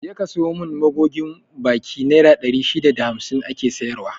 Je ka sayo mun magogin baki, naira ɗari shida da hamsin ake sayar wa